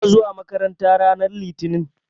Ina zuwa makaranta ranar Litinin.